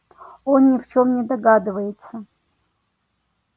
он ни в чём не догадывается